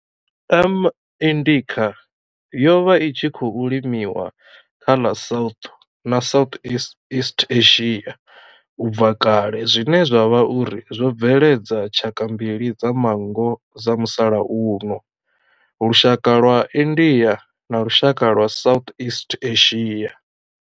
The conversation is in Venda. M. indica yo vha i tshi khou limiwa kha ḽa South na Southeast Asia ubva kale zwine zwa vha uri zwo bveledza tshaka mbili dza manngo dza musalauno, lushaka lwa India na lushaka lwa Southeast Asia.